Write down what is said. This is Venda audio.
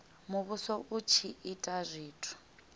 muvhuso u tshi ita zwithu